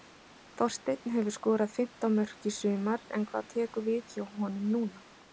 Þorsteinn hefur skorað fimmtán mörk í sumar en hvað tekur við hjá honum núna?